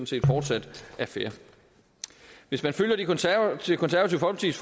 set fortsat er fair hvis man følger det konservative folkepartis